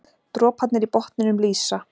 Droparnir í botninum lýsa.